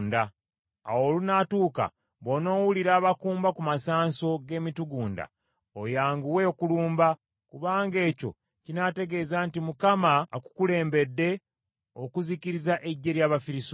Awo olunaatuuka bw’onoowulira abakumba ku masanso g’emitugunda, oyanguwe okulumba, kubanga ekyo kinaategeeza nti Mukama akukulembedde okuzikiriza eggye ly’Abafirisuuti.”